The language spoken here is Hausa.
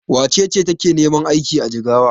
Wace ce take neman aiki a Jigawa?